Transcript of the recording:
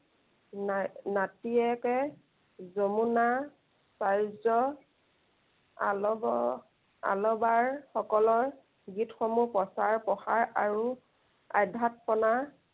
না~নাতিয়েকে যমুনা চাৰ্যৰ আলৱ, আলৱাসকলৰ গীতসমূহ প্ৰচাৰ প্ৰসাৰ আৰু আধ্য়াতপনা